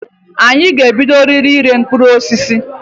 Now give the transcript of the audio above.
Anyị ga-ebidoriri ire mkpụrụ osisi.